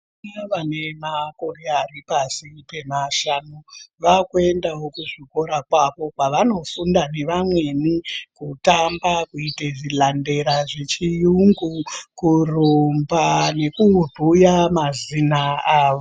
Vana vane makore aripashi pemashanu vakuendawo kuzvikora kwavo kwavanofunda nevamweni kutamba, kuita zvilandera zvechiyungu kurumba nekubhuya mazina avo.